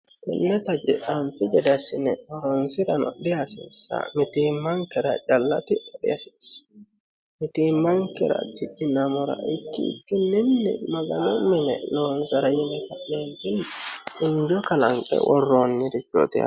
Tenne tage anfi gede assine horonsira dihasiissano mitiimankera calla tidha dihasiissano mitiimankera tidhinamora ikkikki maganu mine loonsara yine ka'neentini injo kalanqe worroonireeti.